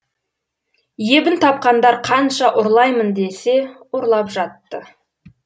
ебін тапқандар қанша ұрлаймын десе ұрлап жатты